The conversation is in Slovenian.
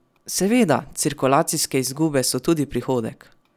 Seveda, cirkulacijske izgube so tudi prihodek!